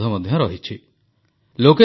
ସାଧାରଣତଃ ଏହି ସମୟରେ ପାର୍ବଣ ଋତୁ ଚାଲିଥାଏ